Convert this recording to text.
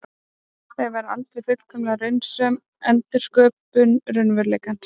Þau verða aldrei fullkomlega raunsönn endursköpun raunveruleikans.